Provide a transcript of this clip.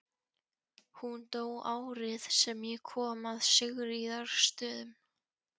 Hún dó árið sem ég kom að Sigríðarstöðum.